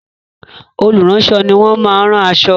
Olùránṣọ ni wọ́n máa rán aṣọ.